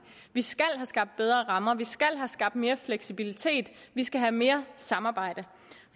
vi skal have skabt bedre rammer vi skal have skabt mere fleksibilitet vi skal have mere samarbejde